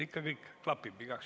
Ikka kõik klapib.